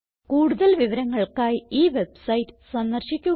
കൂടുതൽ വിവരങ്ങൾക്കായി ഈ വെബ്സൈറ്റ് സന്ദർശിക്കുക